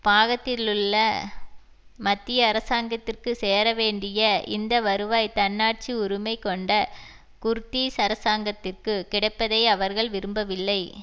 பாகத்திலுள்ள மத்திய அரசாங்கத்திற்கு சேர வேண்டிய இந்த வருவாய் தன்னாட்சி உரிமை கொண்ட குர்தீஸ் அரசாங்கத்திற்கு கிடைப்பதை அவர்கள் விரும்பவில்லை